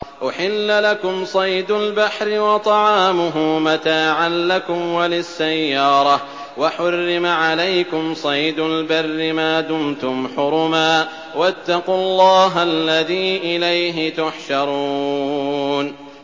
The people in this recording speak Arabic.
أُحِلَّ لَكُمْ صَيْدُ الْبَحْرِ وَطَعَامُهُ مَتَاعًا لَّكُمْ وَلِلسَّيَّارَةِ ۖ وَحُرِّمَ عَلَيْكُمْ صَيْدُ الْبَرِّ مَا دُمْتُمْ حُرُمًا ۗ وَاتَّقُوا اللَّهَ الَّذِي إِلَيْهِ تُحْشَرُونَ